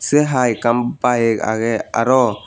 se hai ekkan bike agey araw.